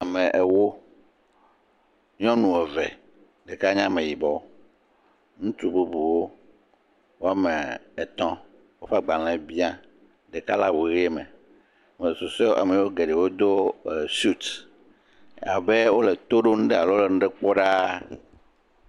Ame ewo, nyɔnu eve ɖeka nye ame yibɔ, ŋutsu bubuwo woame etɔ̃ woƒe agbalẽ bia, ɖeka le awu ʋe me ame susuewo ame geɖewo do suit abe wole to ɖom alo le nane kpɔm ɖaa.